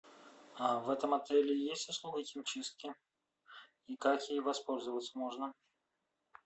в этом отеле есть услуга химчистки и как ей воспользоваться можно